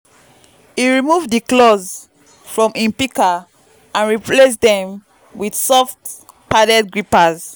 him remove di claws from him pika and replace dem with soft padded grippers